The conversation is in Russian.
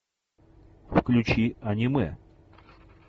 включи аниме